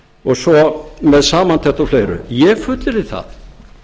og svo með samantekt og fleiru ég fullyrði það